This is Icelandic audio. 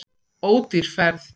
Ódýr ferð.